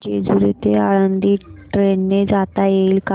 जेजूरी ते आळंदी ट्रेन ने जाता येईल का